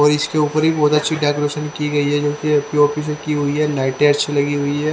और इसके ऊपर ही बहोत अच्छी डेकोरेशन की गई है जो कि पी_ओ_पी से की हुई है लाइटें अच्छी लगी हुई है।